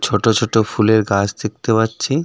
ছোট ছোট ফুলের গাছ দেখতে পাচ্ছি .